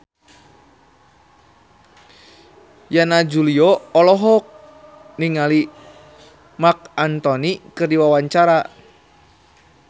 Yana Julio olohok ningali Marc Anthony keur diwawancara